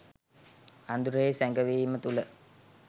අඳුරෙහි සැඟවීම තුළ